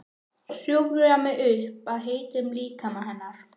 Hjúfra mig upp að heitum líkama hennar.